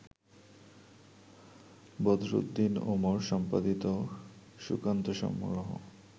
বদরুদ্দীন উমর-সম্পাদিত সুকান্তসমগ্র